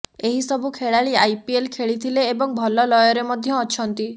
ଏହି ସବୁ ଖେଳାଳି ଆଇପିଏଲ ଖେଳିଥିଲେ ଏବଂ ଭଲ ଲୟରେ ମଧ୍ୟ ଅଛନ୍ତି